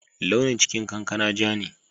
Launin cikin kankana ja ne.